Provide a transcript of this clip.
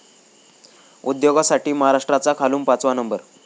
उद्योगासाठी महाराष्ट्राचा खालून पाचवा नंबर!